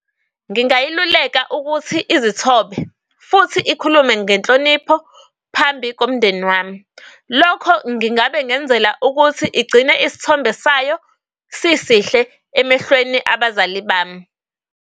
Ngingayiluleka ukuthi izithombe futhi ikhulume ngenhlonipho phambi komndeni wami. Lokho ngingabe ngenzela ukuthi igcine isithombe sayo sisihle emehlweni abazali bami.